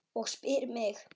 Og spyr mig